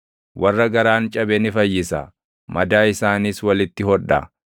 Warra garaan cabe ni fayyisa; madaa isaaniis walitti hodha.